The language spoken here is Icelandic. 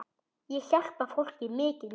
Ég hjálpa fólki mikið núna.